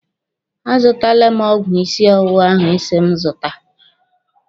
A zụtala m ọgwụ ịsị ọwụwa ahụ Ị si m zụta.